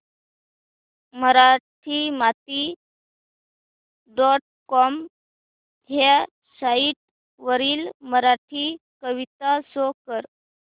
Marathimati dot com ह्या site वरील मराठी कविता शो कर